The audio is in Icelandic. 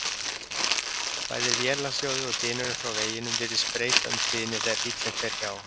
Bæði vélarhljóðið og dynurinn frá veginum virðist breyta um tíðni þegar bíllinn fer hjá.